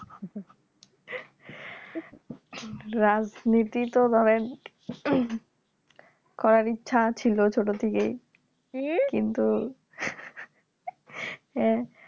রাজনীতি তো ধরেন করার ইচ্ছা ছিল ছোট থেকে কিন্তু